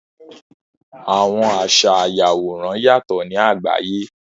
Àwọn àṣa àyàworán yátọ ni àgbàyé.